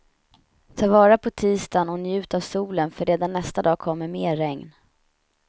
Ta vara på tisdagen och njut av solen för redan nästa dag kommer mer regn.